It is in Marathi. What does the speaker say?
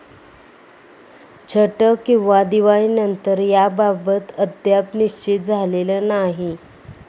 छठ किंवा दिवाळीनंतर याबाबत अद्याप निश्चित झालेलं नाही.